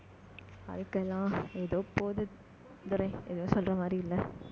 வாழ்க்கை எல்லாம் ஏதோ போகுது. துரை, ஏதும் சொல்ற மாதிரி இல்லை